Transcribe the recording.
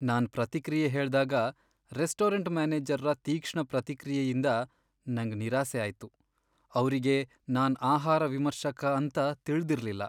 ನಾನ್ ಪ್ರತಿಕ್ರಿಯೆ ಹೇಳ್ದಾಗ ರೆಸ್ಟೋರೆಂಟ್ ಮ್ಯಾನೇಜರ್ರ ತೀಕ್ಷ್ಣ ಪ್ರತಿಕ್ರಿಯೆಯಿಂದ ನಂಗ್ ನಿರಾಸೆ ಆಯ್ತು. ಅವ್ರಿಗೆ ನಾನ್ ಆಹಾರ ವಿಮರ್ಶಕ ಅಂತ ತಿಳ್ದಿರ್ಲಿಲ್ಲ.